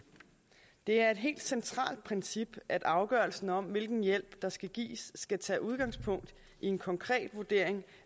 det er et helt centralt princip at afgørelsen om hvilken hjælp der skal gives skal tage udgangspunkt i en konkret vurdering